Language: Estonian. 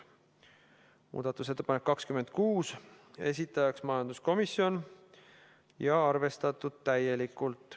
Muudatusettepanek nr 26, esitajaks majanduskomisjon ja arvestatud täielikult.